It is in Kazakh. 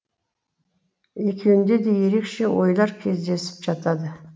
екеуінде де ерекше ойлар кездесіп жатады